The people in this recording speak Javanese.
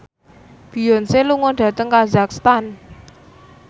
Beyonce lunga dhateng kazakhstan